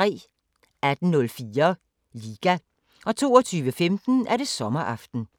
18:04: Liga 22:15: Sommeraften